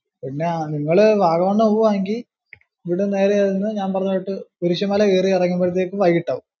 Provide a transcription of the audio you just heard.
പിന്നെ നിങ്ങള് വാഗമണ് പോവാണെങ്കി ഇവിടുന്നു നേരെ ചെന്ന് ഞാൻ പറഞ്ഞ കൂട്ട് കുരിശ്ശ്മല കേറി ഇറങ്ങുമ്പോഴത്തേക്കു വൈകിട്ടാവും.